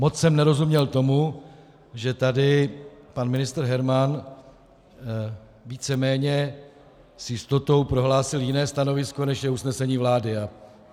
Moc jsem nerozuměl tomu, že tady pan ministr Herman víceméně s jistotou prohlásil jiné stanovisko, než je usnesení vlády.